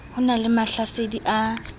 ho na le mahlasedi a